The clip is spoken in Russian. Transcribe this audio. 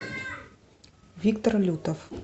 виктор лютов